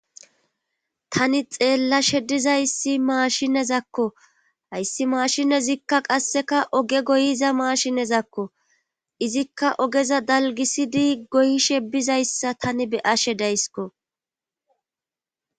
Tani xeellashe dizayssi maashinezakko hayssi maashine zikka qasseka oge goyiza maashinezakko izikka ogeza dalgisidi goyishe bizayssa tani be'ashe daysko.